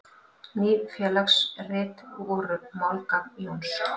Ný félagsrit voru málgagn Jóns.